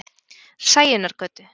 Sæunnargötu